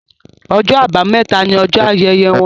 Ọjọ́ Àbàmẹ́ta ní ojó ayẹyẹ wón